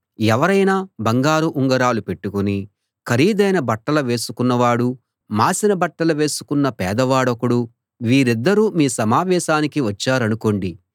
ఎవరైనా బంగారు ఉంగరాలు పెట్టుకుని ఖరీదైన బట్టలు వేసుకున్న వాడు మాసిన బట్టలు వేసుకొన్న పేదవాడొకడు వీరిద్దరూ మీ సమావేశానికి వచ్చారనుకోండి